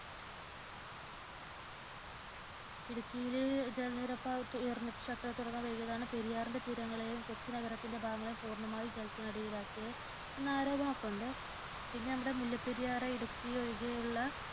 ഇടുക്കിയിൽ ജലനിരപ്പ് ഉയർന്നിട്ടു ഷട്ടറുകൾ തുറന്ന വേളയിലാണ് പെരിയാറിന്റെ തീരങ്ങളെയും കൊച്ചി നഗരത്തിന്റെ ഭാഗങ്ങളെയും പൂർണമായും ജലത്തിനടിയിലാക്കി എന്ന ആരോപണമൊക്കെയുണ്ട് പിന്നെ നമ്മുടെ മുല്ലപെരിയാർ ഇടുക്കി ഒഴികെയുള്ള